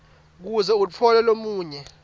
kuze utfole lolunye